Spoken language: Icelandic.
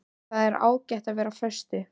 Það er ágætt að vera á föstu.